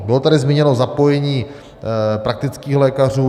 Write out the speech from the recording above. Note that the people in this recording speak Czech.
Bylo tady zmíněno zapojení praktických lékařů.